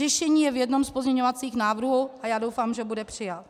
Řešení je v jednom z pozměňovacích návrhů a já doufám, že bude přijat.